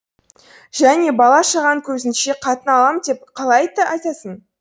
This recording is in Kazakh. және бала шағаң көзінше қатын алам деп қалай айтсын